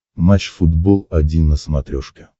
матч футбол один на смотрешке